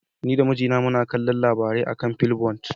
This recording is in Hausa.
Ni da mijina muna kallon labarai a kan flipboard.